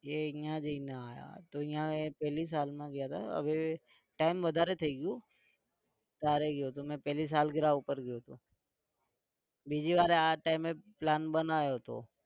એ અહીંયા જઈને આવ્યા તો એ ત્યાં પેલી સાલમાં ગયા હતા હવે time વધારે થઇ ગયો ત્યારે ગયો હતો તો મેં પહેલી सालगिरा પર ગયો હતો બીજી વારે આ time એ plan બનાવ્યો હતો.